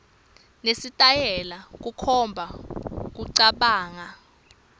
nesitayela kukhomba kucabanga